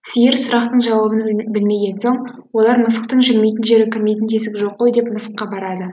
сиыр сұрақтың жауабын білмеген соң олар мысықтың жүрмейтін жері кірмейтін тесігі жоқ қой деп мысыққа барады